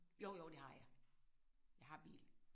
Jo jo det har jeg. Jeg har bil